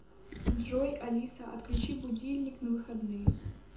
джой алиса отключи будильник на выходные